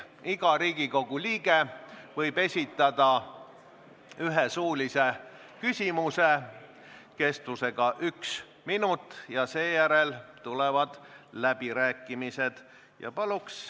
Iga Riigikogu liige võib esitada ühe suulise küsimuse kestusega 1 minut ja seejärel tulevad läbirääkimised.